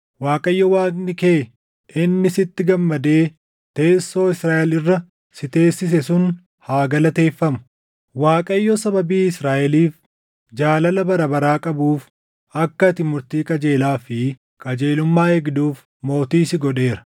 Waaqayyo Waaqni kee inni sitti gammadee teessoo Israaʼel irra si teessise sun haa galateeffamu. Waaqayyo sababii Israaʼeliif jaalala bara baraa qabuuf akka ati murtii qajeelaa fi qajeelummaa eegduuf mootii si godheera.”